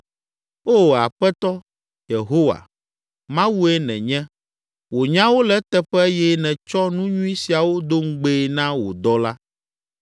Oo, Aƒetɔ Yehowa, Mawue nènye! Wò nyawo le eteƒe eye nètsɔ nu nyui siawo do ŋugbee na wò dɔla.